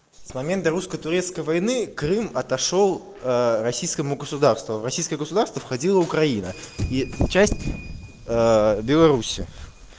с момента русско-турецкой войны крым отошёл российскому государству а в российское государство входила украина и часть белоруссии